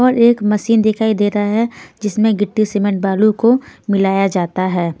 और एक मशीन दिखाई दे रहा है जिसमें गिट्टी सीमेंट बालू को मिलाया जाता है.